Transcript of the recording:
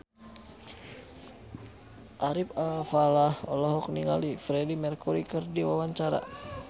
Ari Alfalah olohok ningali Freedie Mercury keur diwawancara